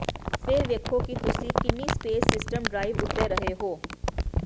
ਫਿਰ ਵੇਖੋ ਕਿ ਤੁਸੀਂ ਕਿੰਨੀ ਸਪੇਸ ਸਿਸਟਮ ਡ੍ਰਾਈਵ ਉੱਤੇ ਰਹੇ ਹੋ